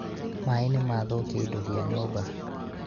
maĩ nĩmathũkia indo cia nyũmba